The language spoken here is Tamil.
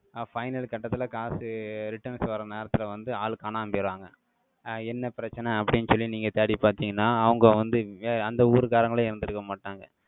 அஹ் final கட்டத்துல காசு, returns வர நேரத்துல வந்து, ஆளு காணாம போயிடுறாங்க. என்ன பிரச்சனை? அப்படின்னு சொல்லி, நீங்க தேடி பார்த்தீங்கன்னா, அவங்க வந்து ஏன் அந்த ஊர்க்காரங்களே, இருந்திருக்க மாட்டாங்க.